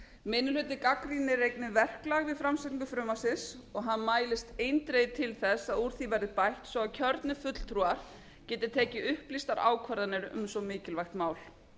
minni hlutinn gagnrýnir einnig verklag við framsetningu frumvarpsins og hann mælist eindregið til þess að úr því verði bætt svo að kjörnir fulltrúar geti tekið upplýstar ákvarðanir um svo mikilvægt mál